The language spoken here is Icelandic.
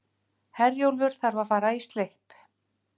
Herjólfur þarf að fara í slipp